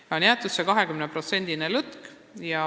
Sinna on jäetud 20%-line lõtk.